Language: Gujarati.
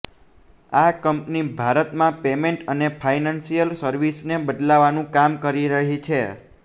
આ કંપની ભારતમાં પેમેન્ટ અને ફાયનાન્શિયલ સર્વિસિસને બદલવાનું કામ કરી રહી છે